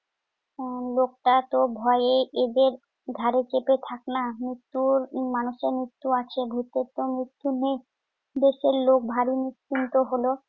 আহ লোকটাতো ভয়ে এদের ঘাড়ে চেপে থাকে না। মৃত্যুর~ মানুষের মৃত্যু আছে। ভূতেরতো মৃত্যু নেই। দেশের লোক ভারী নিশ্চিন্ত হল।